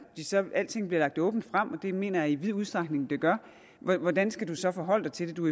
selv om alting bliver lagt åbent frem og det mener jeg i vid udstrækning det gør hvordan skal du så forholde dig til det du